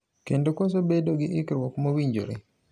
Kendo koso bedo gi ikruok mowinjore